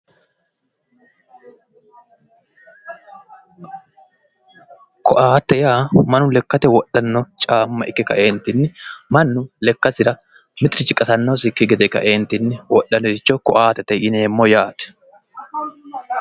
Koatte Yaa mannu lekkate wodhano caama ikke kaeentinni mannu lekasira mitiri qasanosiki gedentin wodhanota koattete yaate